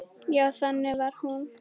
Já, þannig var hún.